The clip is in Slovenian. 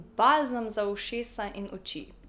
Balzam za ušesa in oči.